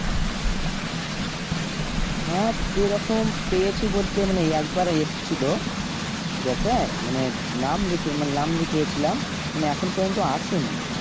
হ্যাঁ সেরকম পেয়েছি বলতে মানে একবার এসেছিল ঠিক আছে মানে নাম লিখে মানে নাম লিখিয়েছিলাম মানে এখন পর্যন্ত আসে নি